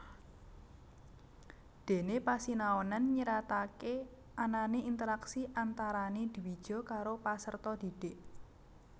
Dene pasinaonan nyiratake anane interaksi antarane dwija karo paserta dhidhik